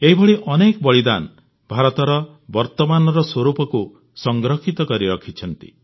ଏହିଭଳି ଅନେକ ବଳିଦାନ ଭାରତର ବର୍ତ୍ତମାନର ସ୍ୱରୂପକୁ ସଂରକ୍ଷିତ କରି ରଖିଛନ୍ତି